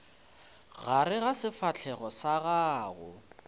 gare ga sefahlego sa gago